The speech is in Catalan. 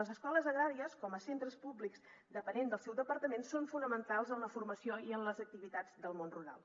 les escoles agràries com a centres públics dependents del seu departament són fonamentals en la formació i en les activitats del món rural